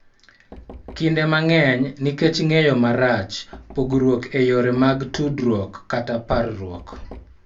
Kinde mang�eny nikech ng�eyo marach, pogruok e yore mag tudruok, kata parruok.